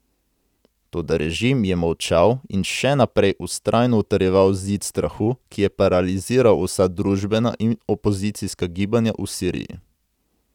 Toda režim je molčal in še naprej vztrajno utrjeval zid strahu, ki je paraliziral vsa družbena in opozicijska gibanja v Siriji.